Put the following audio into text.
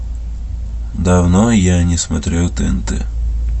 давно я не смотрел тнт